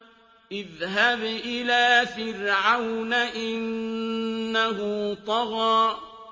اذْهَبْ إِلَىٰ فِرْعَوْنَ إِنَّهُ طَغَىٰ